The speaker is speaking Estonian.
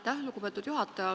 Aitäh, lugupeetud juhataja!